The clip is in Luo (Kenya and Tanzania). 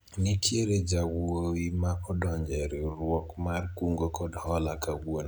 nitiere jawuowi ma odonjo e riwruok mar kungo kod hola kawuono